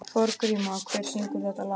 Þorgríma, hver syngur þetta lag?